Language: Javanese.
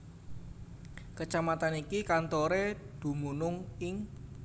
Kecamatan iki kantoré dumunung ing